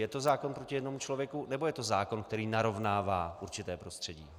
Je to zákon proti jednomu člověku, nebo je to zákon, který narovnává určité prostředí?